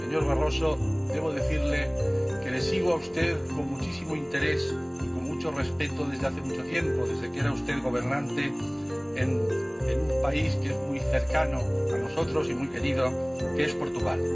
Señor Barroso, debo decirle que le sigo a usted con muchísimo interés, y con mucho respeto, desde hace mucho tiempo, desde que era usted gobernante en un país que es muy cercano a nosotros y muy querido, que es Portugal.